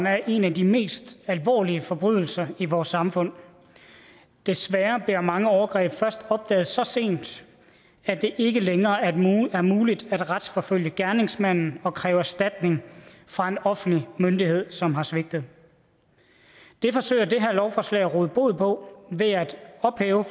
er en af de mest alvorlige forbrydelser i vores samfund desværre bliver mange overgreb først opdaget så sent at det ikke længere er muligt er muligt at retsforfølge gerningsmanden og kræve erstatning fra en offentlig myndighed som har svigtet det forsøger det her lovforslag at råde bod på ved at ophæve